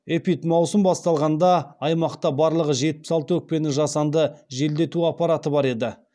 эпидмаусым басталғанда аймақта барлығы жетпіс алты өкпені жасанды желдету аппараты бар еді